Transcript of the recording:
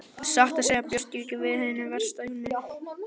Satt að segja bjóst ég við hinu versta Jón minn.